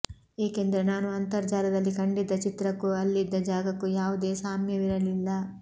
ಏಕೆಂದರೆ ನಾನು ಅಂತರ್ಜಾಲದಲ್ಲಿ ಕಂಡಿದ್ದ ಚಿತ್ರಕ್ಕೂ ಅಲ್ಲಿದ್ದ ಜಾಗಕ್ಕೂ ಯಾವುದೇ ಸಾಮ್ಯವಿರಲಿಲ್ಲ